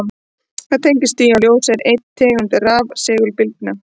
Það tengist því að ljós er ein tegund rafsegulbylgna.